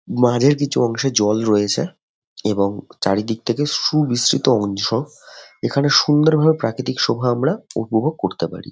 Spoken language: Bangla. মাঝের কিছু অংশে জল রয়েছে। এবং চারিদিক থেকে সুবৃস্তিত অংশ । এখানে সুন্দর ভাবে প্রাকৃতিক শোভা আমরা উপভোগ করতে পারি।